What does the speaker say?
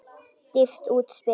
Dýrt útspil.